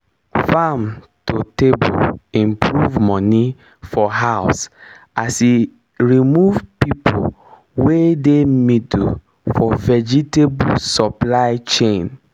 farm to table improve money for house as e remove people wey dey middle for vegetable supply chain